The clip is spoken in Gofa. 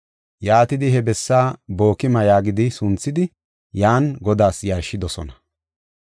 Yaatidi he bessaa Bookima yaagidi sunthidi yan Godaas yarshidosona.